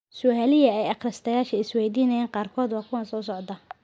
Su'aalihii ay akhristayaasha is weydiinayeen qaarkood waa kuwan soo socda.